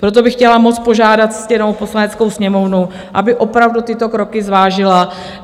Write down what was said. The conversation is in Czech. Proto bych chtěla moc požádat ctěnou Poslaneckou sněmovnu, aby opravdu tyto kroky zvážila.